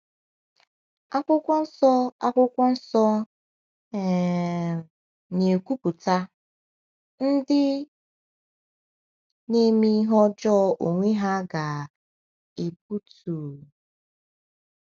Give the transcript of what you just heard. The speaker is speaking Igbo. Akwụkwọ Nsọ Akwụkwọ Nsọ um na-ekwupụta: “Ndị na-eme ihe ọjọọ onwe ha ga-egbutu...